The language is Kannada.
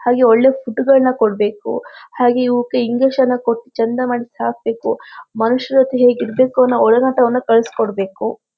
ಹಾಗೆ ಒಳ್ಳೆ ಫುಡ್ ಗಳನ್ನ ಕೊಡ್ಬೇಕು ಹಾಗೆ ಇವ್ಕೆ ಇಂಜೆಕ್ಷನ್ ಎಲ್ಲಾ ಕೊಟ್ಟು ಚಂದ ಮಾಡಿ ಸಾಕ್ಬೇಕು ಮನುಷ್ರತ್ರ ಹೇಗಿರ್ಬೇಕು ಅನ್ನೋ ಒಡನಾಟವನ್ನ ಕಲುಸ್ ಕೊಡ್ಬೇಕು .